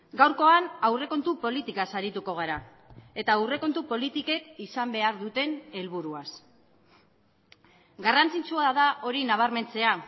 gaurkoan aurrekontu politikaz arituko gara eta aurrekontu politikek izan behar duten helburuaz garrantzitsua da hori nabarmentzea